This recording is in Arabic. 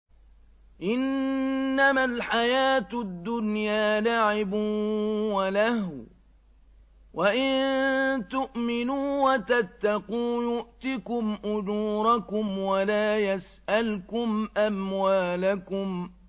إِنَّمَا الْحَيَاةُ الدُّنْيَا لَعِبٌ وَلَهْوٌ ۚ وَإِن تُؤْمِنُوا وَتَتَّقُوا يُؤْتِكُمْ أُجُورَكُمْ وَلَا يَسْأَلْكُمْ أَمْوَالَكُمْ